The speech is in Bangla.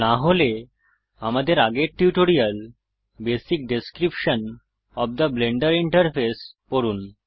না হলে আমাদের আগের tutorial basic description of the Blender interface পড়ুন